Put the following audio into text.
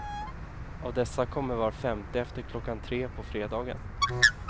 Av dessa kommer var femte efter klockan tre på fredagen.